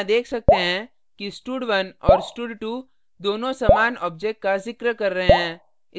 हम यहाँ देख सकते हैं कि stud1 और stud2 दोनों समान object का जिक्र कर रहे हैं